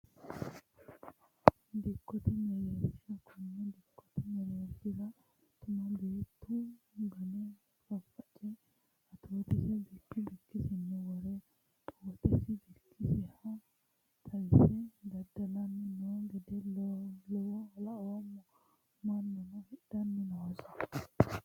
Dikkote mereersha kone dikkote mereershira tuma beettu gane faface atootise bikki bikkisini wore woxeno bikkisiha xawise dada'lani no gede laoommo mannuno hidhani noosi.